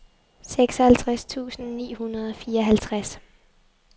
seksoghalvtreds tusind ni hundrede og fireoghalvtreds